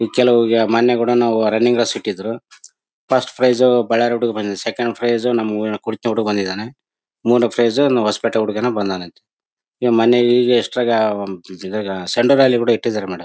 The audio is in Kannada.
ಇಲ್ಲಿ ಕೆಲವರಿಗೆ ಮೊನ್ನೆ ನಾವು ರನ್ನಿಂಗ್ ರೇಸ್ ಇಟ್ಟಿದ್ರು ಫಸ್ಟ್ ಪ್ರೈಸ್ ಬಳ್ಳಾರಿ ಹುಡುಗನಿಗೆ ಬಂದಿದೆ ಸೆಕೆಂಡ್ ಪ್ರೈಸ್ ನಮ್ ಹುಡುಗನಿಗೆ ಬಂದಿದಾನೆ ಮೂರನೇ ಪ್ರೈಸ್ ಹೊಸಪೇಟೆ ಹುಡುಗನಿಗೆ ಬಂದಿದೆ ಅಂತೇ ಈಗ ಮೊನ್ನೆ ಈಗ ಅಸ್ಟ್ರಾಗ ಇದಾಗ ಸೆಂಟರ್ ರ್ಯಾಲಿ ಕೂಡ ಇಟ್ಟಿದಾರೆ ಮೇಡಮ್